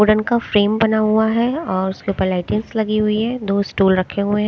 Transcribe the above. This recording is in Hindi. वुडन का फ्रेम बना हुआ है और उसके ऊपर लाइटिंग्स लगी हुई है दो स्टूल रखे हुए--